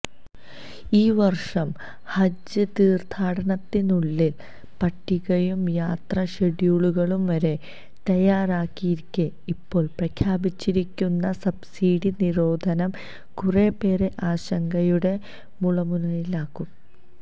ഈ വര്ഷം ഹജ്ജ്തീര്ത്ഥാടനത്തിനുള്ള പട്ടികയും യാത്രാ ഷെഡ്യൂളുകളും വരെ തയ്യാറായിരിക്കെ ഇപ്പോള് പ്രഖ്യാപിച്ചിരിക്കുന്ന സബ്സിഡി നിരോധനം കുറെപേരെ ആശങ്കയുടെ മുള്മുനയിലാക്കും